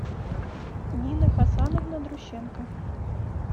нина хасановна друщенко